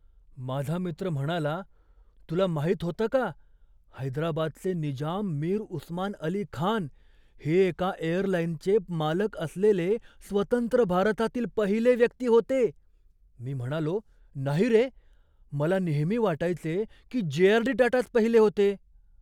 माझा मित्र म्हणाला, तुला माहित होतं का, हैदराबादचे निजाम मीर उस्मान अली खान हे एका एअरलाईनचे मालक असलेले स्वतंत्र भारतातील पहिले व्यक्ती होते! मी म्हणालो, "नाही रे! मला नेहमी वाटायचे की जे.आर.डी. टाटाच पहिले होते"